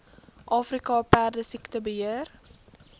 afrika perdesiekte beheer